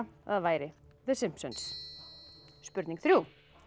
að það væri The Simpsons spurning þrjú